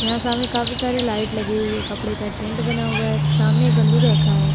यहाँ सामने काफी सारे लाइट लगी हुई है। कपड़े का टेंट बना हुआ है। सामने बंदूक रखा है।